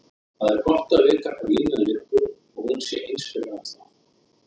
Það er gott að vita hvar línan liggur og hún sé eins fyrir alla.